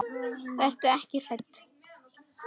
Vertu ekki hrædd.